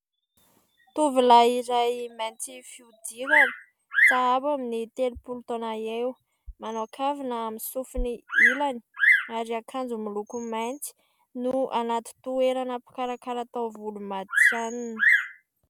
Tovolahy iray mainty fihodirana, sahabo amin'ny telopolo taona eo. Manao kavina amin'ny sofiny ilany ary akanjo miloko mainty, no anaty toerana mpikarakara taovolo matihanina.